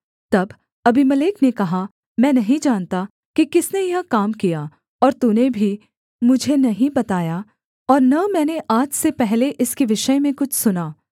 तब अबीमेलेक ने कहा मैं नहीं जानता कि किसने यह काम किया और तूने भी मुझे नहीं बताया और न मैंने आज से पहले इसके विषय में कुछ सुना